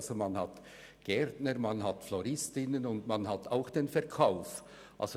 Es gibt Gärtner und Floristinnen sowie Personen, die im Verkauf tätig sind.